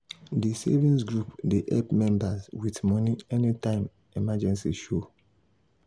di savings group dey help members with money anytime emergency show.